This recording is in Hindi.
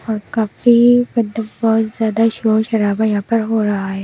और काफी तो बहुत ज्यादा शोर शराबा यहां पर हो रहा है।